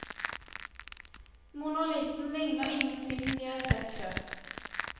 Monolitten ligner ingenting de har sett før.